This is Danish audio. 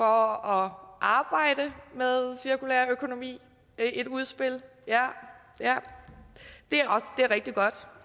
arbejde med cirkulær økonomi i et udspil ja det er rigtig godt